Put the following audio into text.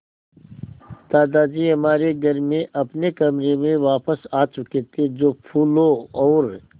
दादाजी हमारे घर में अपने कमरे में वापस आ चुके थे जो फूलों और